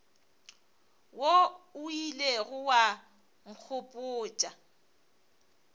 wo o ilego wa nkgopotša